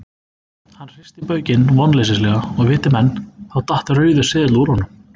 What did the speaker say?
Hann hristi baukinn vonleysislega og viti menn, þá datt rauður seðill úr honum.